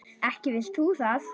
Ekki vilt þú það?